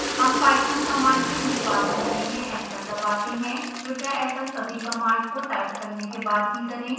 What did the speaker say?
हम Python command के निष्पादन के लिए एंटर दबाते हैं कृपया ऐसा सभी कमांड को टाइप करने के बाद ही करें